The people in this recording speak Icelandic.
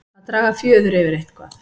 Að draga fjöður yfir eitthvað